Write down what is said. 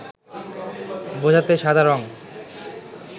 বোঝাতে সাদা রঙ